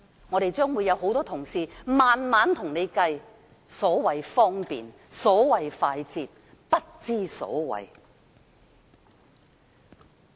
我們這邊會有多位同事向政府娓娓數算所謂的"方便快捷"是如何不知所謂。